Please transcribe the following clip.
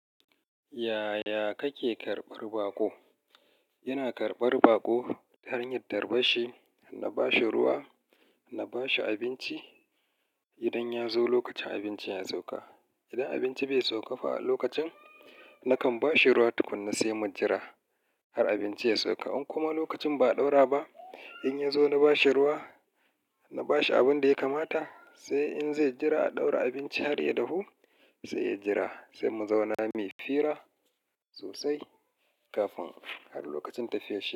Yaya kake karbar baƙo? Ina karɓar baƙo ta hanyar tarban Shi, na bashi ruwa, na bashi abinci idan ya zo lokacin abinci ya sauka. Idan abinci bai sauka ba lokacin, nakan bashi ruwa tukunna sai mun jira har abinci ya sauka. In kuma lokacin ba a ɗaura ba, in ya zo na bashi ruwa, na bashi abin da ya kamata, sai in zai jira a ɗaura abinci har ya dahu sai ya jira sai mu zauna muyi fira sosai kafin har lokacin tafiyar shi.